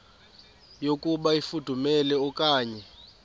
yokuba ifudumele okanye